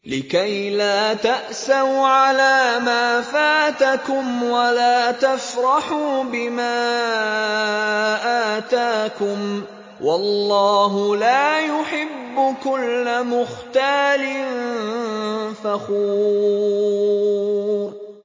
لِّكَيْلَا تَأْسَوْا عَلَىٰ مَا فَاتَكُمْ وَلَا تَفْرَحُوا بِمَا آتَاكُمْ ۗ وَاللَّهُ لَا يُحِبُّ كُلَّ مُخْتَالٍ فَخُورٍ